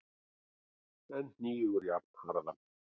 en hnígur jafnharðan.